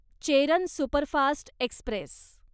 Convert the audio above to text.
Cheran superfast Express